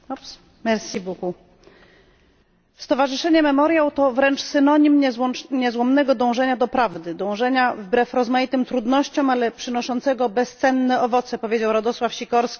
Stowarzyszenie Memoriał to wręcz synonim niezłomnego dążenia do prawdy, dążenia wbrew rozmaitym trudnościom, ale przynoszącego bezcenne owoce powiedział Radosław Sikorski, minister spraw zagranicznych Polski.